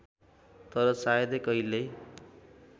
तर सायदै कहिल्यै